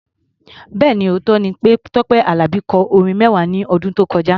Bẹ́ẹ̀ni, òótọ́ ni pé Tọ́pẹ́ Àlàbí kọ orin mẹ́wàá ní ọdún tó kọjá.